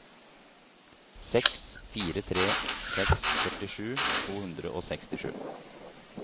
seks fire tre seks førtisju to hundre og sekstisju